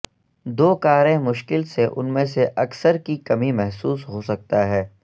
دو کاریں مشکل سے ان میں سے اکثر کی کمی محسوس ہو سکتا ہے